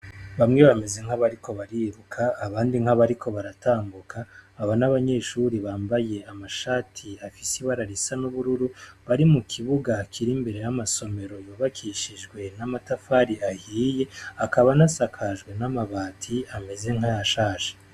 Bamwe bameze nk'abariko bariruka abandi nk'abariko baratanguka aba n'abanyeshuri bambaye amashati afise bara risa n'ubururu bari mu kibuga kiri imbere y'amasomero yubakishijwe n'amatafari ahiye akaba n'asakajwe n'amabati ameze nk'aya shasha.